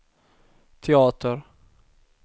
teater